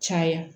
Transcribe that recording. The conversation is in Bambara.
Caya